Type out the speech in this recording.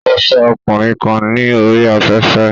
Ó fẹ́ ọkùnrin kan ní orí afẹ́fẹ́